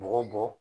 Bɔgɔ bɔ